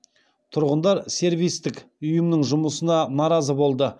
тұрғындар сервистік ұйымның жұмысына наразы болды